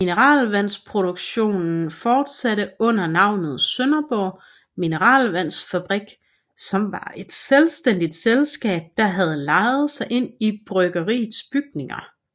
Mineralvandsproduktionen fortsatte under navnet Sønderborg Mineralvandsfabrik som var et selvstændigt selskab der havde lejet sig ind i bryggeriets bygninger